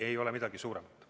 Ei ole midagi suuremat.